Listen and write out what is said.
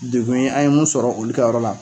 Degun ye an ye mun sɔrɔ olu ka yɔrɔ la.